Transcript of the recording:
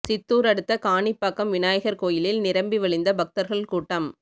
சித்தூர் அடுத்த காணிப்பாக்கம் விநாயகர் கோயிலில் நிரம்பி வழிந்த பக்தர்கள் கூட்டம்